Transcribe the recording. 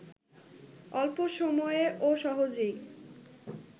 অল্প সময়ে ও সহজেই